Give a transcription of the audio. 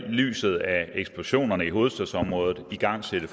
i lyset af eksplosionerne i hovedstadsområdet igangsætte